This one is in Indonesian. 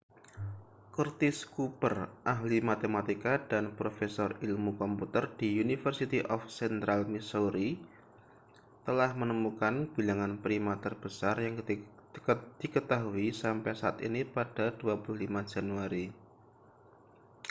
curtis cooper ahli matematika dan profesor ilmu komputer di university of central missouri telah menemukan bilangan prima terbesar yang diketahui sampai saat ini pada 25 januari